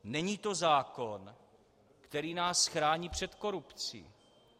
Není to zákon, který nás chrání před korupcí.